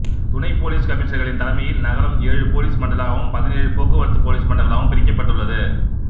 துணை போலீஸ் கமிஷனர்களின் தலைமையில் நகரம் ஏழு போலீஸ் மண்டலங்களாகவும் பதினேழு போக்குவரத்து போலீஸ் மண்டலங்களாகவும் பிரிக்கப்பட்டுள்ளது